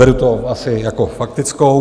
Beru to asi jako faktickou.